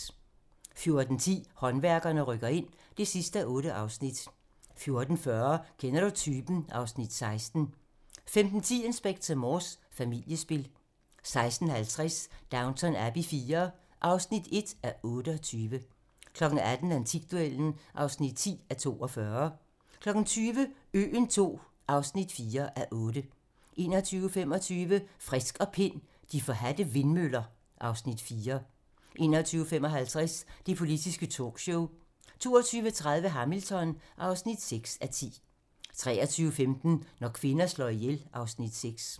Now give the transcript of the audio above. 14:10: Håndværkerne rykker ind (8:8) 14:40: Kender du typen? (Afs. 16) 15:10: Inspector Morse: Familiespil 16:50: Downton Abbey IV (1:28) 18:00: Antikduellen (10:42) 20:00: Øen II (4:8) 21:25: Frisk og Pind: De forhadte vindmøller (Afs. 4) 21:55: Det politiske talkshow 22:30: Hamilton (6:10) 23:15: Når kvinder slår ihjel (Afs. 6)